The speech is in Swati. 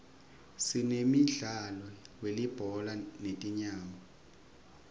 sinemdlalo welibhola letinyawo